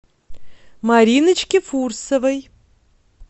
мариночке фурсовой